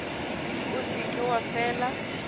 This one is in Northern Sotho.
o se ke wa fela